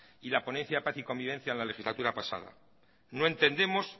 y la ponencia de paz y convivencia en la legislatura pasada no entendemos